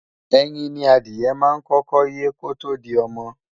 Ẹyin ni adìẹ máa ń kọ́kọ́ yé kótó di ọmọ